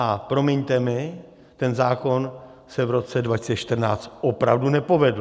A promiňte mi, ten zákon se v roce 2014 opravdu nepovedl.